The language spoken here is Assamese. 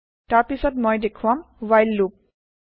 তাৰ পিছত মই দেখুৱাম ৱ্হাইল loop